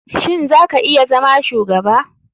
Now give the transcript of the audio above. Shin za ka iya zama shugaba?